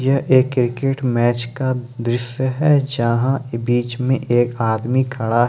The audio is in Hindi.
यह एक क्रिकेट मैच का दृश्य है जहाँ बीच में एक आदमी खड़ा है।